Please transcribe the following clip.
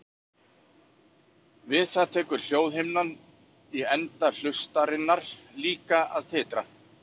Við það tekur hljóðhimnan í enda hlustarinnar líka að titra.